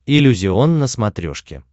иллюзион на смотрешке